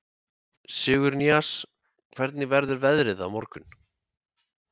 Sigurnýas, hvernig verður veðrið á morgun?